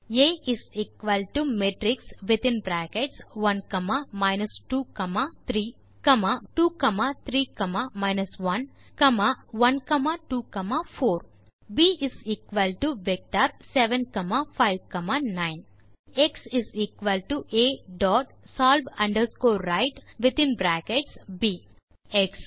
type செய்க a matrix of within brackets1 2 3 comma 2 3 1 comma 1 2 4 ப் vector within brackets7 5 9 x a dot solve right X